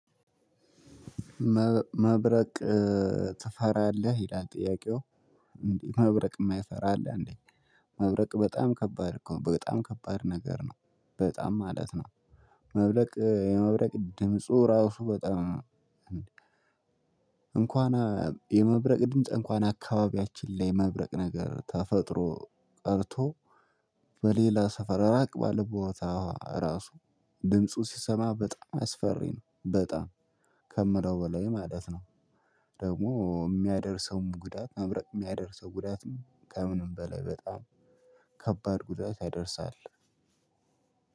መብረቅ ትፈራለህ ይላል። ጥያቄው እንዴ መብረቅ የማይፈራ አለ። አንዴ መብረቅ በጣም ከባድ እኮ በጣም ከባድ ነገር ነው በጣም ማለት ነው። መብረቅ የመብረቅ ድምፁ ራሱ በጣም እንኳን የመብረቅ ድምጽ እንኳን አካባቢያችን ላይ መብረቅ ነገር ተፈጥሮ ቀርቶ በሌላ ሰፈር ራቅ ባለ ቦታ ራሱ ድምፁ ሲሰማ በጣም አስፈሪ ነው በጣም ከምለው በላይ ማለት ነው። ደግሞ የሚያደርሰውም ጉዳት መብረቅ የሚያደርሰው ጉዳትም ከምንም በላይ በጣም ከባድ ጉዳይ ያደርሳል።